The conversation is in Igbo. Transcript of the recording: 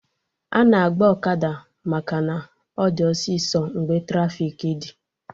Ana agba ọkada maka na ọ dị ọsịsọ mgbe trafiki dị